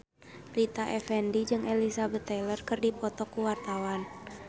Rita Effendy jeung Elizabeth Taylor keur dipoto ku wartawan